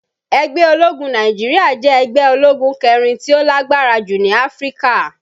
Ẹgbẹ́ ológun Naijiria jẹ́ ẹgbẹ́ ológun kẹrin tí ó lágbára jù ní Áfríkà.